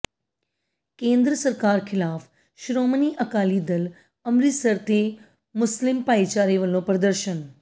ਕੇਂਦਰ ਸਰਕਾਰ ਖਿਲਾਫ਼ ਸ਼੍ਰੋਮਣੀ ਅਕਾਲੀ ਦਲ ਅੰਮਿ੍ਤਸਰ ਤੇ ਮੁਸਲਿਮ ਭਾਈਚਾਰੇ ਵੱਲੋਂ ਪ੍ਰਦਰਸ਼ਨ